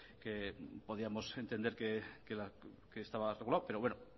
que podíamos entender que estaba regulado pero bueno